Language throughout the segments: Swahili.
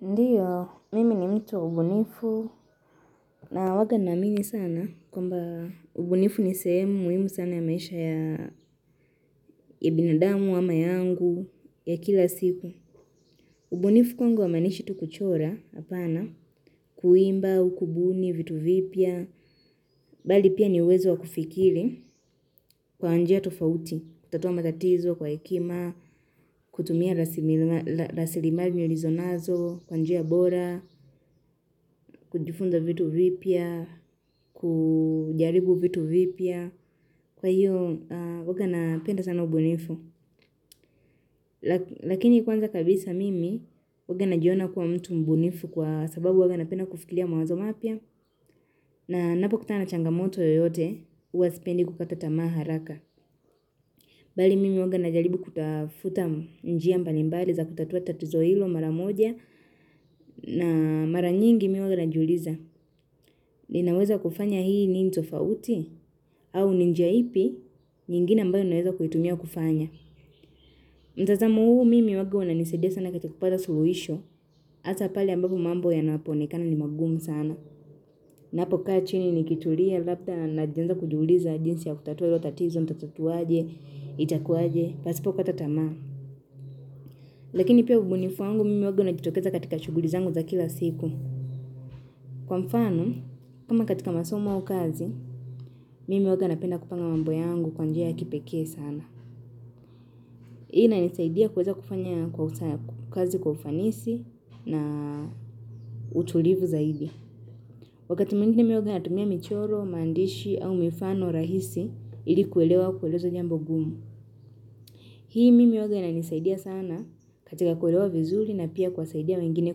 Ndiyo, mimi ni mtu mbunifu na huwa naamini sana kwamba ubunifu ni sehemu muhimu sana ya maisha ya binadamu ama yangu ya kila siku. Ubunifu kwangu humanishi tu kuchora hapana, kuimba, ukubuni, vitu vipya, bali pia niuwezo wa kufikiri kwa njia tofauti. Kutatua matatizo kwa hekima, kutumia rasilimali ulinizonazo, kwa njia bora, kujifunza vitu vipya, kujaribu vitu vipya. Kwa hiyo, huwa napenda sana ubunifu. Lakini kwanza kabisa mimi, huwa najiona kuwa mtu mbunifu kwa sababu huwa napenda kufikiria mawazo mapya. Na ninapo kuta na changamoto yoyote, huwa sipendi kukata tamaa haraka. Bali mimi huwa najaribu kutafuta njia mbalimbali za kutatua tatizo hilo mara moja na mara nyingi mimi huwa najuliza. Ninaweza kufanya hii ni ntofauti au ni njia ipi nyingine ambayo ninaweza kuitumia kufanya. Mtazamo huu mimi huwa unanisaidia sana katika kupata suluhisho. Hasa pale ambapo mambo yanapoonekana ni magumu sana. Ninapo kaa chini nikitulia labda najianza kujuliza jinsi ya kutatua hilo tatizo nitatatuaje, itakuwaje, pasipo kata tamaa. Lakini pia ubunifu wangu mimi huwa unajitokeza katika shughuli zangu za kila siku. Kwa mfano, kama katika masomo au kazi, mimi huwa napenda kupanga mambo yangu kwa njia ya kipekee sana. Hii inanisaidia kuweza kufanya kwa kazi kwa ufanisi na utulivu zaidi. Wakati mwingine mimi huwa natumia michoro, maandishi au mifano rahisi ili kuelewa kueleza jambo ngumu. Hii mimi huwa inanisaidia sana katika kuelewa vizuri na pia kuwasaidia wengine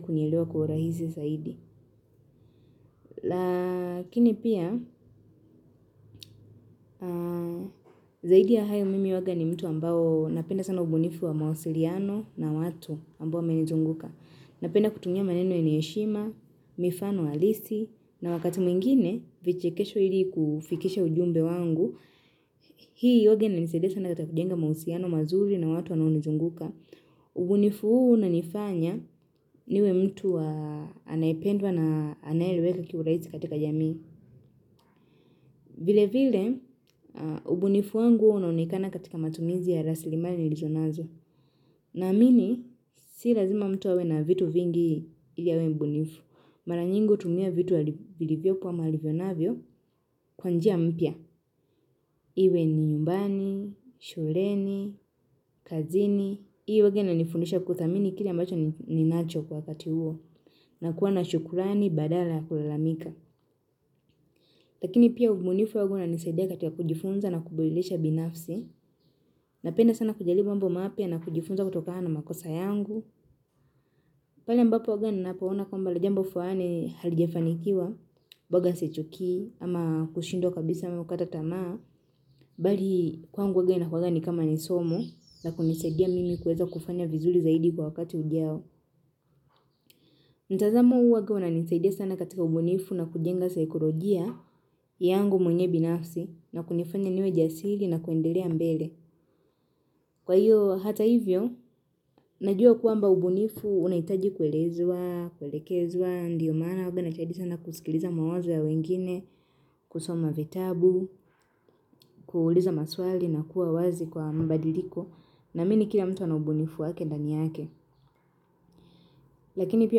kunielewa kwa urahisi zaidi. Lakini pia, zaidi ya hayo mimi huwa ni mtu ambao napenda sana ubunifu wa mawasiliano na watu ambao wamenizunguka. Napenda kutumia maneno yenye heshima, mifano halisi, na wakati mwingine vichekesho ili kufikisha ujumbe wangu. Hii huwa inanisaidia sana katika kujenga mahusiano mazuri na watu wanaonizunguka. Ubunifu huu unanifanya niwe mtu anayependwa na anayeeleweka kwa urahisi katika jamii. Vile vile, ubunifu wangu unaonekana katika matumizi ya rasilimali nilizo nazo. Naamini, si lazima mtu awe na vitu vingi ili awe mbunifu. Mara nyingi hutumia vitu vilivyopo ama alivyonavyo kwa njia mpya. Iwe ni nyumbani, shuleni, kazini. Huwa inanifundisha kuthamini kile ambacho ninacho kwa kati huo. Na kuwa na shukrani badala ya kulalamika. Lakini pia ubunifu huwa unanisaidia katika kujifunza na kuburudisha binafsi. Napenda sana kujalibu mambo mapya na kujifunza kutokana na makosa yangu pale ambapo huwa ninaapaona kwamba jambo fulani halijafanikiwa boga sichukii ama kushindwa kabisa ama kuta tamaa Bali kwangu huwa inakuwanga ni kama nisomo na kunisaidia mimi kuweza kufanya vizuri zaidi kwa wakati ujao mtazamo huwa unanisaidia sana katika ubunifu na kujenga saikolojia yangu mwenyewe binafsi na kunifanya niwe jasili na kuendelea mbele Kwa hiyo hata hivyo, najua kwamba ubunifu unahitaji kuelezwa, kuelekezwa Ndiyo maana huwa najitahidi sana kusikiliza mawazo ya wengine, kusoma vitabu, kuuliza maswali na kuwa wazi kwa mbadiliko na naamini kila mtu ana ubunifu wake ndani yake Lakini pi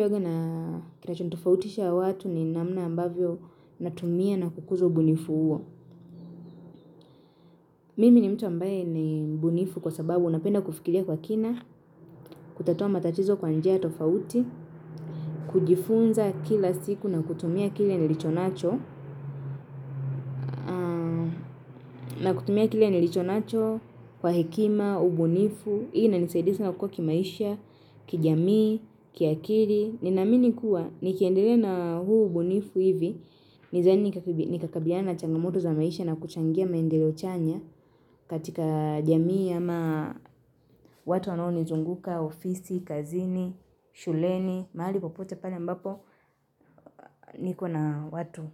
huwa kinachonitofautisha watu ni namna ambavyo natumia na kukuza ubunifu huo Mimi ni mtu ambaye ni mbunifu kwa sababu napenda kufikiria kwa kina, kutatua matatizo kwa njia tofauti, kujifunza kila siku na kutumia kile nilicho nacho, na kutumia kile nilicho nacho kwa hekima, ubunifu, hii inanisaidisi sana kukua kimaisha, kijamii, kiakili. Ninaamini kuwa, nikiendele na huu ubunifu hivi nathani nikakabiliana na changamoto za maisha na kuchangia maendeleo chanya katika jamii ama watu wanaonizunguka, ofisi, kazini, shuleni mahali popote pale ambapo niko na watu.